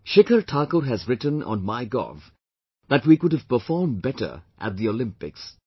Shikhar Thakur has written on MyGov that we could have performed better at the Olympics